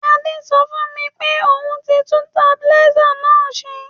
Adé so fùn mi pe oun ti tun stabilizer náà se